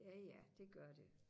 ja ja det gør det